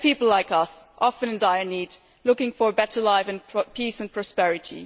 They are people like us, often in dire need, looking for a better life and peace and prosperity.